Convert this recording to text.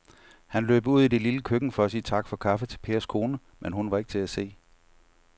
Han løb ud i det lille køkken for at sige tak for kaffe til Pers kone, men hun var ikke til at se.